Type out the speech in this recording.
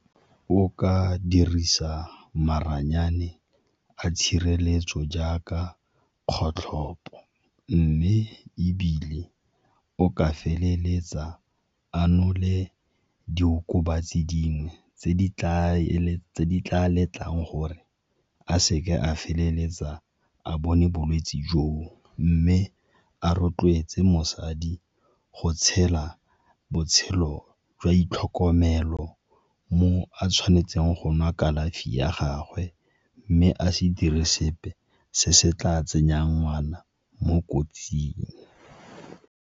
O ka dirisa maranyane a tshireletso jaaka kgotlhopo mme ebile o ka feleletsa a nole diokobatsi dingwe tse di tla letlang gore a seke a feleletsa a bone bolwetse jo, o mme a rotloetse mosadi go tshela botshelo jwa itlhokomelo mo a tshwanetseng go nwa kalafi ya gagwe mme a se dire sepe se se tla tsenyang ngwana mo kotsing.